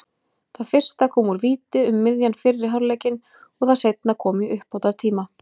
Það fyrsta kom úr víti um miðjan fyrri hálfleikinn og það seinna kom í uppbótartíma.